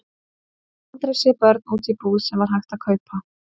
Ég hafði aldrei séð börn úti í búð sem hægt var að kaupa.